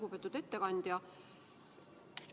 Lugupeetud ettekandja!